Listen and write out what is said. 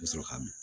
U bɛ sɔrɔ k'a min